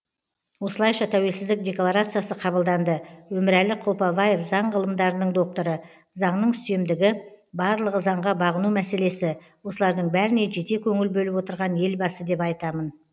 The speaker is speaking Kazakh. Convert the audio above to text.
осылайша тәуелсіздік декларациясы қабылданды өмірәлі құлпаваев заң ғылымдарының докторы заңның үстемдігі барлығы заңға бағыну мәселесі осылардың бәріне жете көңіл бөліп отырған елбасы деп айтамын